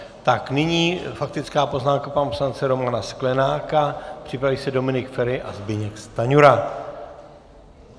Tak nyní faktická poznámka pana poslance Romana Sklenáka, připraví se Dominik Feri a Zbyněk Stanjura.